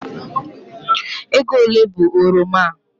Ego ole bụ oroma a?